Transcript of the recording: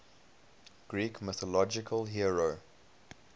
greek mythological hero